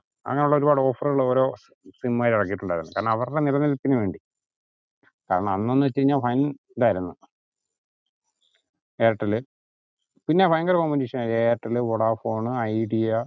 അങ്ങനെ ഉള്ള ഒരുപാട് offer കൾ ഓരോ sim കാര് ഇറക്കിട്ടുണ്ടായിരുന്നു കാരണം അവരുടെ നിലനിൽപിന് വേണ്ടി കാരണം അന്ന് ന്ന് വെച്ച കഴിഞ്ഞാ വൻ ഇതായിരുന്നു എയർടെൽ പിന്നെ ഭയങ്കര competition ആയിരുന്നു എയർടെൽ, വൊഡാഫോൺ, ഐഡിയ